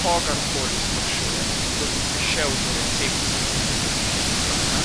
Kogar koli sprašujem, da bi prišel do recepcije okrevališča Krka,